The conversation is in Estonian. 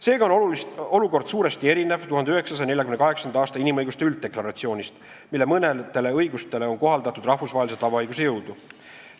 Seega on olukord suuresti erinev 1948. aasta inimõiguste ülddeklaratsioonist, mille mõnele õigusele on kohaldatud rahvusvahelise tavaõiguse jõudu.